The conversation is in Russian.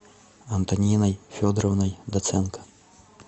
антониной федоровной доценко